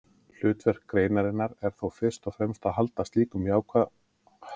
Hlutverk greinarinnar er þó fyrst og fremst að halda slíkum ákvæðum innan skynsamlegra marka.